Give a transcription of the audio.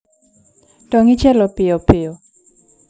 Tong' ichielo piyopiyo